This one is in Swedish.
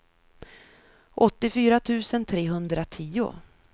åttiofyra tusen trehundratio